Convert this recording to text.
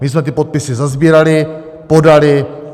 My jsme ty podpisy sesbírali, podali.